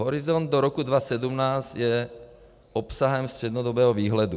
Horizont do roku 2017 je obsahem střednědobého výhledu.